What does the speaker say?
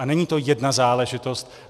A není to jedna záležitost.